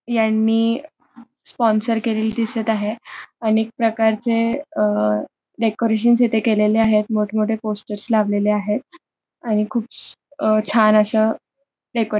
यांनी स्पॉन्सर केलेली दिसत आहे अनेक प्रकारचे अ डेकोरेशनस इथे केलेले आहेत मोठे मोठे पोस्टरस येथे लावलेले आहेत आणि खूप छान अशा डेकोरे--